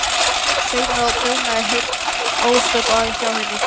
Saumaði og prjónaði heil ósköp hjá henni.